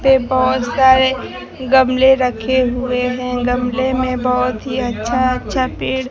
ते बहुत सारे गमले रखे हुए हैं गमले में बहुत ही अच्छा अच्छा पेड़--